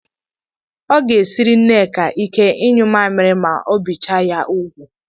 Ọ ga-esiri Nneka ike ịyụ maaamịrị ma e bicha ya úgwù.